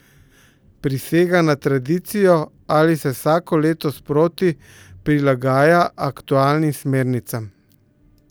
Prisega na tradicijo ali se vsako leto sproti prilagaja aktualnim smernicam?